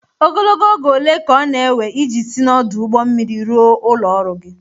Ogologo oge ole ka ọ na-ewe iji si n'ọdụ ụgbọ mmiri ruo ụlọ ọrụ gị?